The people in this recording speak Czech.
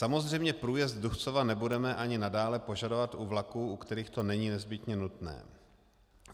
Samozřejmě průjezd Duchcova nebudeme ani nadále požadovat u vlaků, u kterých to není nezbytně nutné.